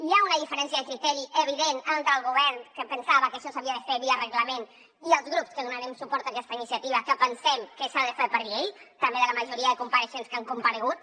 hi ha una diferència de criteri evident entre el govern que pensava que això s’havia de fer via reglament i els grups que donarem suport a aquesta iniciativa que pensem que s’ha de fer per llei també de la majoria de compareixents que han comparegut